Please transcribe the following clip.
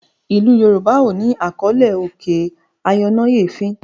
ilú yorùbá o ní àkọlé òkè ayọnáyèéfín.